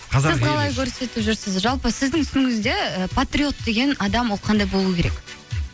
сіз қалай көрсетіп жүрсіз жалпы сіздің түсінігіңізде і патриот деген адам ол қандай болуы керек